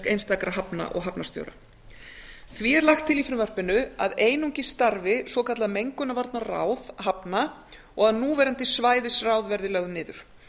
einstakra hafna og hafnarstjóra því er lagt til í frumvarpinu að einungis starfi svokallað mengunarvarnaráð hafna og að núverandi svæðisráð verði lögð niður